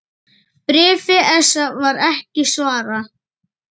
Bréfi ESA var ekki svarað.